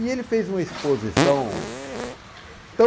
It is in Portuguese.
E ele fez uma exposição tão...